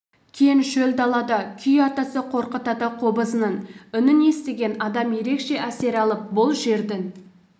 кең шөл далада күй атасы қорқыт ата қобызының үнін естіген адам ерекше әсер алып бұл жердің